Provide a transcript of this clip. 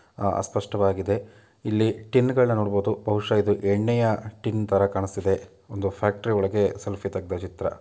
ಅ-ಅಸ್ಪಷ್ಟವಾಗಿದೆ ಇಲ್ಲಿ ಟಿನ್ಗಳನ್ನ ನೋಡಬಹುದು ಬಹುಶಹ ಇದು ಎಣ್ಣೆಯ ಟಿನ್ತರ ಕಾಣಿಸ್ತಾ ಇದೆ ಒಂದು ಫ್ಯಾಕ್ಟರಿ ಒಳಗೆ ಸೆಲ್ಫಿ ತೆಗೆದ ಚಿತ್ರ.